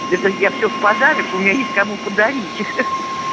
это я все в подарок у меня есть кому подарить ха-ха